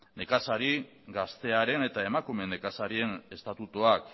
nekazari gaztearen eta emakume nekazarien estatutuak